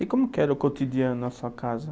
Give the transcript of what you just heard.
E como que era o cotidiano na sua casa?